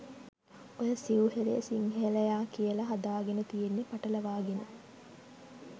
ඔය සිවු හෙළය සිංහලයා කියලා හදාගෙනතියෙන්නේ පටලවාගෙන.